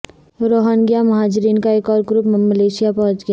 Rohingya مہاجرین کا ایک اور گروپ ملائیشیا پہنچ گیا